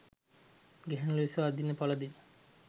ගැහැණු ලෙස අඳින පළඳින